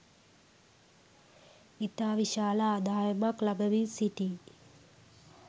ඉතා විශාල ආදායමක් ලබමින් සිටී